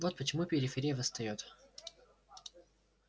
вот почему периферия восстаёт